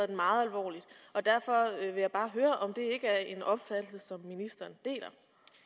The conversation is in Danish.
den meget alvorligt derfor vil jeg bare høre om det ikke er en opfattelse som ministeren deler